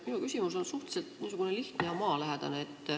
Minu küsimus on suhteliselt lihtne ja maalähedane.